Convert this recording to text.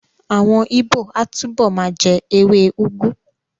Àwọn Ìgbó á túbọ̀ ma jẹ́ ewé úgú